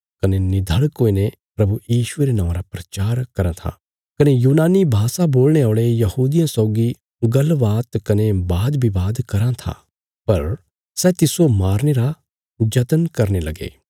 कने निधड़क हुईने प्रभु यीशुये रे नौआं रा प्रचार कराँ था कने यूनानी भाषा बोलणे औल़े यहूदियां सौगी गल्लबात कने बादबवाद कराँ था पर सै तिस्सो मारने रा जतन करने लगे